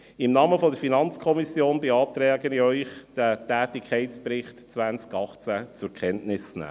Im Namen der FiKo beantrage ich Ihnen, den Tätigkeitsbericht 2018 zur Kenntnis zu nehmen.